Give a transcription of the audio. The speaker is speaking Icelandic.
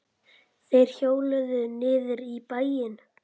Þeir hjóluðu niður í bæinn.